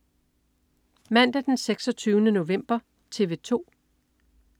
Mandag den 26. november - TV 2: